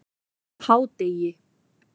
hádegi